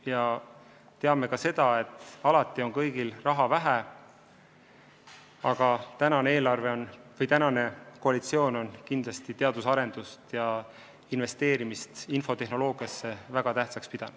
Me teame, et alati on kõigil raha vähe, aga praegune koalitsioon on kindlasti teaduse arendamist ja investeerimist infotehnoloogiasse väga tähtsaks pidanud.